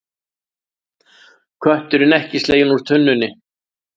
Kötturinn ekki sleginn úr tunnunni